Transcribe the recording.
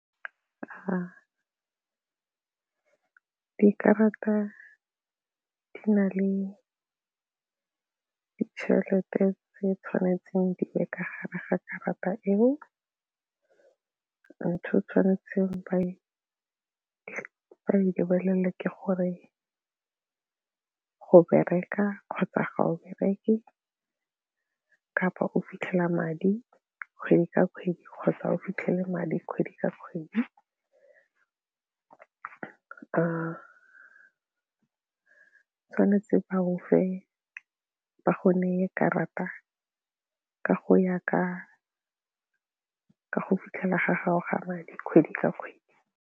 Dikarata di na le ditšhelete tse tshwanetseng di be ka gare ga karata eo, ntho e tshwanetseng ba e lebelele ke gore go bereka kgotsa ga o bereke kapa o fitlhela madi kgwedi ka kgwedi kgotsa o fitlhele madi kgwedi ka kgwedi. Tshwanetse ba gofe ba kgone karata ka go ya ka go fitlhela ga gago ga madi kgwedi ka kgwedi.